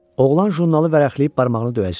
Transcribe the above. Oğlan jurnalı vərəqləyib barmağını döyəclədi.